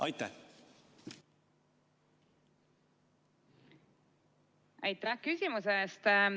Aitäh küsimuse eest!